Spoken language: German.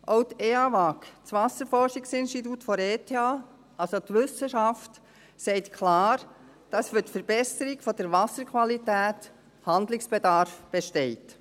Auch die EAWAG, das Wasserforschungsinstitut der Eidgenössischen Technischen Hochschule (ETH), also die Wissenschaft, sagt klar, dass für die Verbesserung der Wasserqualität Handlungsbedarf besteht.